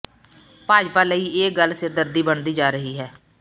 ਭਾਜਪਾ ਲਈ ਇਹ ਗੱਲ ਸਿਰਦਰਦੀ ਬਣਦੀ ਜਾ ਰਹੀ ਹੈ